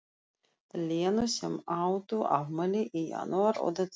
Lenu sem áttu afmæli í janúar og desember.